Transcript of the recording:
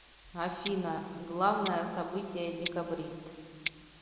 афина главное событие декабрист